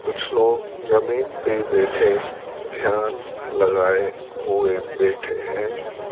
कुछ लोग जमीन पे बैठे ध्यान लगाए हुए बैठे हैं।